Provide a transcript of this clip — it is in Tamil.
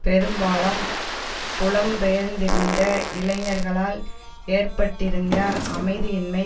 பெரும்பாலம் புலம்பெயர்ந்திருந்த இளைஞர்களால் ஏற்பட்டிருந்த அமைதியின்மை